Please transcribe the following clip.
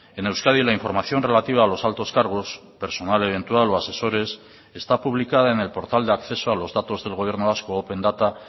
en euskadi la información relativa a los altos cargos personal eventual o asesores está publicada en el portal de acceso a los datos del gobierno vasco open data